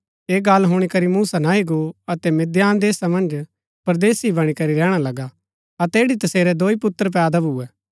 ऐह गल्ल हुणी करी मूसा नह्ही गो अतै मिद्दान देशा मन्ज परदेसी बणी करी रैहणा लगा अतै ऐड़ी तसेरै दाई पुत्र पैदा भुऐ